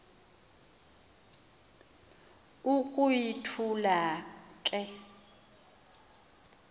uku yithula le